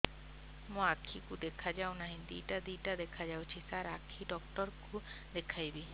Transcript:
ମୋ ଆଖିକୁ ଦେଖା ଯାଉ ନାହିଁ ଦିଇଟା ଦିଇଟା ଦେଖା ଯାଉଛି ସାର୍ ଆଖି ଡକ୍ଟର କୁ ଦେଖାଇବି